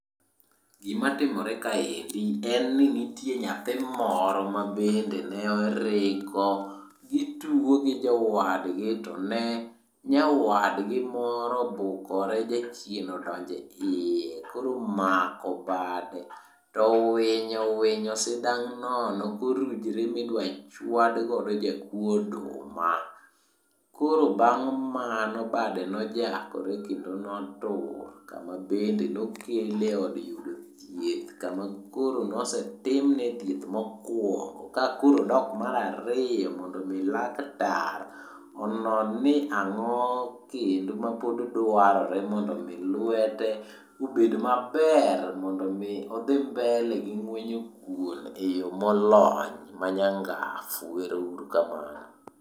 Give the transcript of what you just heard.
Gima timore kaendi en ni nitie nyathi moro mabende ne oriko gitugo gi jowadgi to ne nyawadgi moro obukore jachien odonjeiye. Koro omako bade to owinyo owinyo sidang' nono korujre midwachwadgodo jakuo oduma. Koro bang' mano bade nojakore kendo notur kama bende nokele eod yudo thieth kama koro nosetimne thieth mokwongo. Kakoro odok marariyo mondomi laktar onon ni ang'o kendo mapod dwarore mondo mi lwete obed maber mondo mi odhi mbele gi ng'wenyo kuon eyo molony manyangafu. Ero uru kamano.